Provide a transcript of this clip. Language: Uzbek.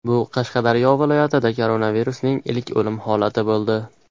Bu Qashqadaryo viloyatida koronavirusdan ilk o‘lim holati bo‘ldi.